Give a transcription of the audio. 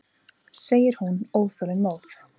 segir hún óþolinmóð.